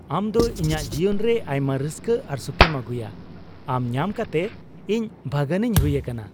ᱟᱢ ᱫᱚ ᱤᱧᱟᱜ ᱡᱤᱭᱚᱱ ᱨᱮ ᱟᱭᱢᱟ ᱨᱟᱹᱥᱠᱟᱹ ᱟᱨ ᱥᱩᱠᱷᱮᱢ ᱟᱹᱜᱩᱭᱟ ᱾ ᱟᱢ ᱧᱟᱢ ᱠᱟᱛᱮᱫ ᱤᱧ ᱵᱷᱟᱹᱜᱟᱱᱤᱧ ᱦᱩᱭ ᱟᱠᱟᱱᱟ ᱾